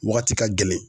Wagati ka gɛlɛn